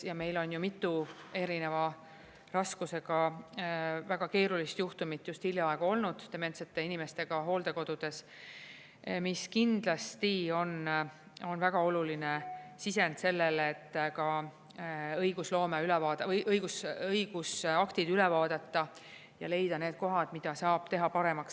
Ja meil on ju mitu erineva raskusega väga keerulist juhtumit just hiljaaegu olnud dementsete inimestega hooldekodudes, mis kindlasti on väga oluline sisend sellele, et ka õigusloome või õigusaktid üle vaadata ja leida need kohad, mida saab teha paremaks.